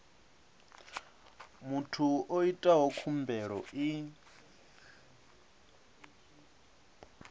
muthu o itaho khumbelo i